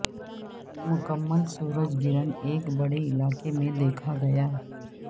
مکمل سورج گرہن ایک بڑے علاقے میں دیکھا گیا